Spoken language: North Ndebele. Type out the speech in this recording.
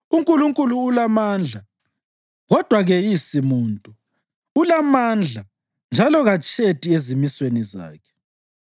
UNkulunkulu ulamandla, kodwa keyisi muntu; ulamandla njalo katshedi ezimisweni zakhe.